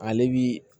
Ale bi